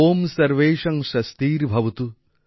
ওম সর্বেষাং স্বস্তির্ভবতু